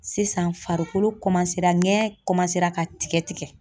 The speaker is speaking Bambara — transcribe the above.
Sisan farikolo kɔmansera ngɛɲɛn kɔmansera ka tigɛ tigɛ.